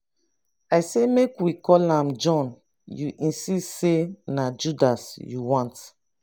i say make we call am john you insist say na judas you want